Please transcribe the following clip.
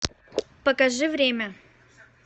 покажи время